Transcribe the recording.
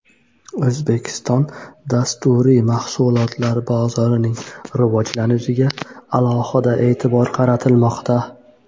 O‘zbekiston dasturiy mahsulotlar bozorining rivojlanishiga alohida e’tibor qaratilmoqda.